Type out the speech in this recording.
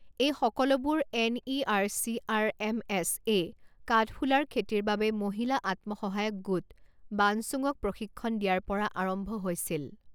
এই সকলোবোৰ এনইআৰচিআৰএমএছ এ কাঠফুলাৰ খেতিৰ বাবে মহিলা আত্মসহায়ক গোট বানচুঙক প্ৰশিক্ষণ দিয়াৰ পৰা আৰম্ভ হৈছিল।